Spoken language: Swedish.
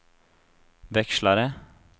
växlare